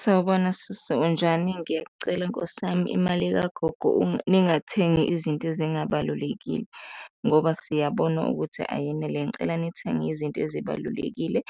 Sawubona sisi, unjani? Ngiyakucela nkosi yami, imali kagogo ningathengi izinto ezingabalulekile ngoba siyabona ukuthi ayenele. Ngicela nithenge izinto ezibalulekile